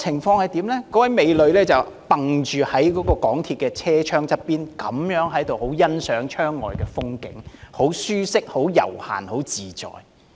那位美女依傍着港鐵的車窗，欣賞窗外的風景，好不舒適、悠閒、自在。